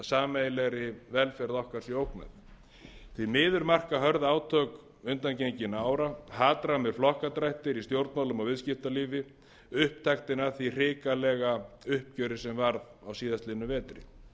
sameiginlegri velferð okkar sé ógnað því miður marka hörð átök undangenginna ára hatrammir flokkadrættir í stjórnmálum og viðskiptalífi upptaktinn af því hrikalega uppgjöri sem varð á síðastliðnum vetri stjórnmálastéttinni